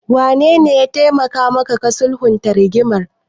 Wanene ya taimaka maka ka sulhunta rigimar?